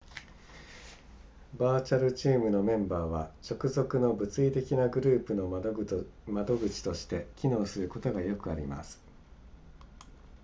バーチャルチームのメンバーは直属の物理的なグループの窓口として機能することがよくあります